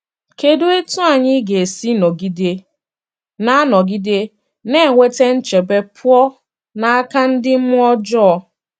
Kedụ etú anyị ga esi nọgide na nọgide na - enweta nchebe pụọ n’aka ndị mmụọ ọjọọ?